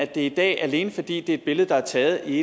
det i dag alene fordi det er et billede der er taget i